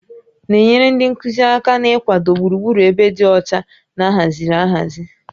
Na-enyere ndị nkuzi aka n'ịkwado gburugburu ebe dị ọcha na ahaziri ahazi